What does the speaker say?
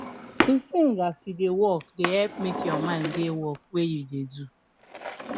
to sing as you da work da help make you mind da work wey you da do